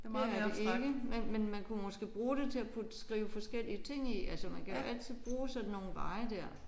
Det er det ikke. Men men man kunne måske bruge det til at putte skrive forskellige ting i altså man kan jo altid bruge sådan nogle veje der